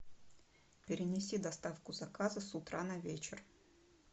перенеси доставку заказа с утра на вечер